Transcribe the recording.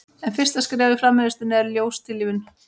en fyrsta skref í framleiðslunni er ljóstillífun